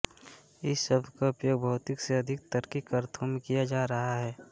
इस शब्द का उपयोग भौतिक से अधिक तार्किक अर्थ में किया जाता रहा है